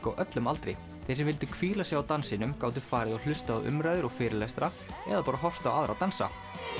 á öllum aldri þeir sem vildu hvíla sig á dansinum gátu farið og hlustað á umræður og fyrirlestra eða bara horft á aðra dansa